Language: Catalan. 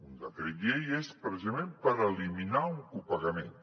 un decret llei i és precisament per eliminar un copagament